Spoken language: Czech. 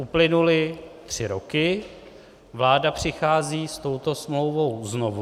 Uplynuly tři roky, vláda přichází s touto smlouvou znovu.